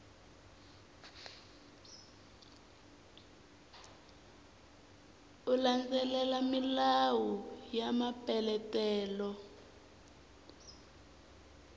u landzelela milawu ya mapeletelo